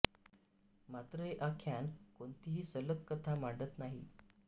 मात्र हे आख्यान कोणतीही सलग कथा मांडत नाही